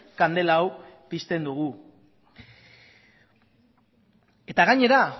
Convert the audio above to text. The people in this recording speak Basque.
kandela hau pizten dugu gainera